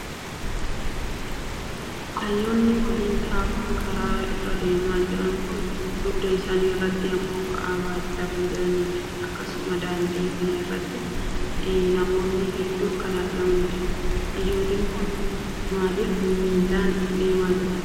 Aayyoowwan waliin tahuun karaa irra deemaa jiran kun dugda isaanii irratri immoo ba'aa baachaa kan jiranii dha. Akkasumas daandii kana irrattis namoonni hedduun kan argamanii dha. Aayyooliin kun maaliif miillaan deemaa jiru?